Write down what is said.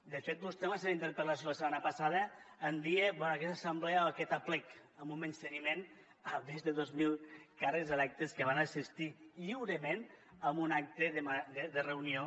de fet vostè en la seva interpel·lació la setmana passada en deia bé aquesta assemblea o aquest aplec amb un menysteniment a més de dos mil càrrecs electes que van assistir lliurement a un acte de reunió